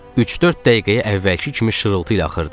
Üç-dörd dəqiqəyə əvvəlki kimi şırıltı ilə axırdı.